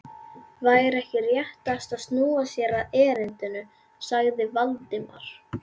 Væri ekki réttast að snúa sér að erindinu? sagði Valdimar.